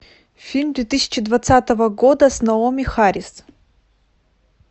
фильм две тысячи двадцатого года с наоми харрис